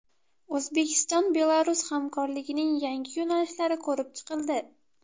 O‘zbekiston-Belarus hamkorligining yangi yo‘nalishlari ko‘rib chiqildi.